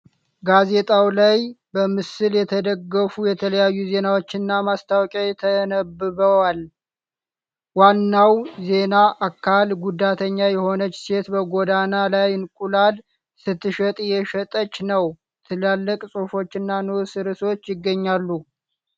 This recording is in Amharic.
ጋዜጣ ላይ በምስል የተደገፉ የተለያዩ ዜናዎችና ማስታወቂያዎች ተነባብረዏል። ዋናው ዜና አካል ጉዳተኛ የሆነች ሴት በጎዳና ላይ እንቁላል ስትሸጥ እየሽጠች ነው፡፡ ትላልቅ ጽሑፎችና ንዑስ ርዕሶች ይገኛሉ።